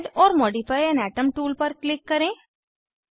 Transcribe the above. add or modify an atom tool पर click करें